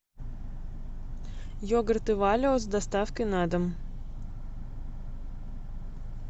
йогурты валио с доставкой на дом